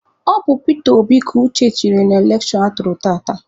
Ọ bụ Pita Obi ka Uche tụnyere na elekshọn atụrụ tata.